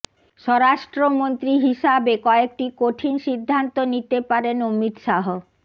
স্বরাষ্ট্রমন্ত্রী হিসাবে কয়েকটি কঠিন সিদ্ধান্ত নিতে পারেন অমিত শাহ